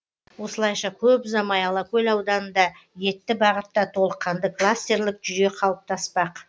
осылайша көп ұзамай алакөл ауданында етті бағытта толыққанды кластерлік жүйе қалыптаспақ